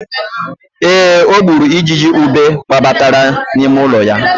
Ee, o gburu ijiji ube gbabatara n'ime ụlọ ya.